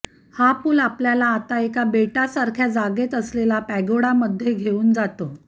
हा पूल आपल्याला आता एका बेटासारख्या जागेत असलेल्या पॅगोडामध्ये घेऊन जातो